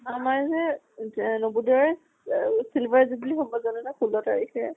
আমাৰ যে এহ silver jubilee হব জানানা ষোল্ল তাৰিখে।